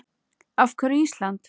Af hverju Ísland?